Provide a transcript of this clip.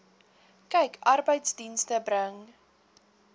kyk arbeidsdienste bring